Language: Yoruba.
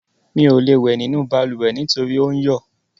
Mi ò lè wẹ̀ nínú balùwẹ̀ nítorí ò ń yọ̀.